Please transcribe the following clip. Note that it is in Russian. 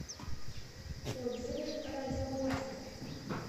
отзывы радиомастер